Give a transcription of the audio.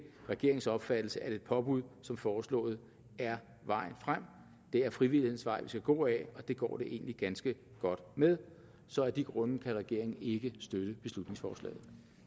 regeringens opfattelse at et påbud som foreslået er vejen frem det er frivillighedens vej vi skal gå ad og det går det egentlig ganske godt med så af de grunde kan regeringen ikke støtte beslutningsforslaget